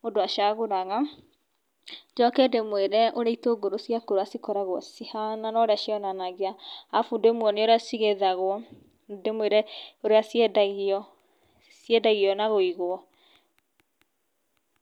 mũndũ acagũraga njoke ndĩmwĩre ũrĩa itũngũrũ cia kũrũ cikoragwo cihana na ũrĩa cionanagia alafu ndĩmwonie ũrĩa cigethagwo ndĩmwĩre ũrĩa ciendagio, ciendagio na wũigũ.